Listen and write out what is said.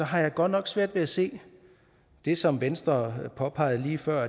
har jeg godt nok svært ved at se det som venstre påpegede lige før